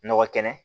Nɔgɔ kɛnɛ